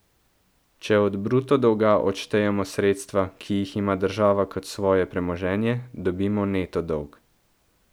Če od bruto dolga odštejemo sredstva, ki jih ima država kot svoje premoženje, dobimo neto dolg.